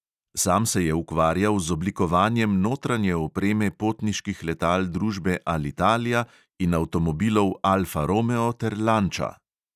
Sam se je ukvarjal z oblikovanjem notranje opreme potniških letal družbe alitalia in avtomobilov alfa romeo ter lanča.